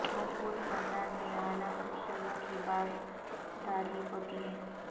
مضبوط خاندان میں اعلی اصولوں کی پاس داری ہوتی ہے